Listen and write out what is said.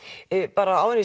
bara áður